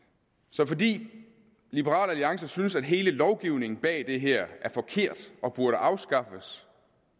så fordi liberal alliance synes at hele lovgivningen bag det her er forkert og burde afskaffes